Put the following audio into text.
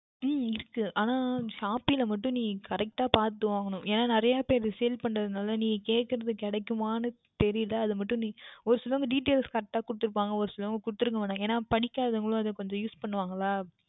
உம் இருக்கும் ஆனால் Shopee யில் மற்றும் நீ Correct டாக பார்த்து வாங்கவேண்டும் ஏனென்றால் நிறைய பேர் Sale பண்ணுவதால் நீ கேட்பது கிடைக்குமா என்று தெரியவில்லை அது மற்றும் ஒருத்தவர்கள் Details Correct கொடுத்து இருப்பார்கள் ஒருசிலர் கொடுத்து இருக்க மாற்றார்கள் ஏன் என்றால் பிடிக்காதவர்களும் கொஞ்சம் Use பண்ணுவார்கள் அல்ல